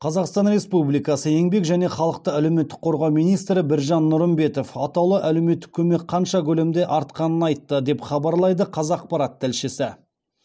қазақстан республикасы еңбек және халықты әлеуметтік қорғау министрі біржан нұрымбетов атаулы әлеуметтік көмек қанша көлемде артқанын айтты деп хабарлайды қазақпарат тілшісі